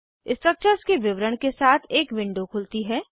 structures के विवरण के साथ एक विंडो खुलती है